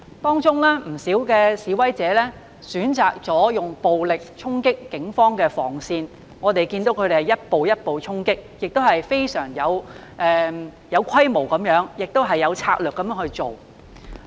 當中有不少示威者選擇使用暴力衝擊警方的防線，我們看到他們一步一步衝擊，亦非常有規模地、有策略地去做。